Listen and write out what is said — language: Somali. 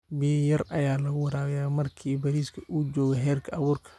biya yar aya laguwarabiya marki bariska uu jogo herka aburka